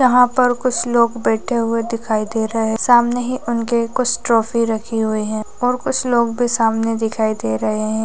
यहाँ पर कुछ लोग बैठे हुए दिखाई दे रहे है सामने ही उनकी कुछ ट्रॉफी रखी हुई है और कुछ लोग भी सामने दिखाई दे रहे है।